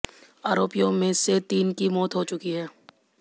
आरोपियों में से तीन की मौत हो चुकी है